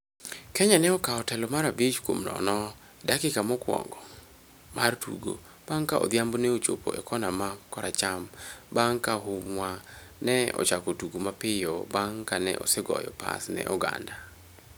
Kenya ne okawo telo mar abich kuom nono e dakika mokwongo mar tugo bang' ka Odhiambo ne ochopo e kona ma koracham bang' ka Humwa ne ochako tugo mapiyo bang' ka ne osegoyo pas ne Oganda.